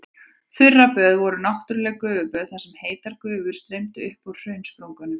Þurraböð voru náttúrleg gufuböð þar sem heitar gufur streymdu upp úr hraunsprungum.